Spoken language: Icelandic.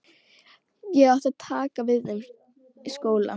Ég átti að taka við þeim skóla.